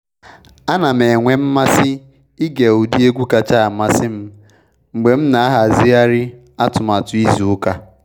A na m enwe mmasị ịge ụdị egwu kacha amasị m mgbe m na ahazigharị atụmatụ izu ụka.